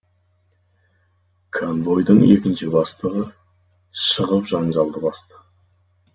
конвойдың екінші бастығы шығып жанжалды басты